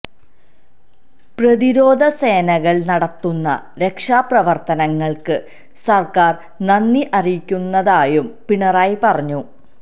പ്രതിരോധ സേനകൾ നടത്തുന്ന രക്ഷാപ്രവർത്തനങ്ങൾക്ക് സർക്കാർ നന്ദി അറിയിക്കുന്നതായും പിണറായി പറഞ്ഞു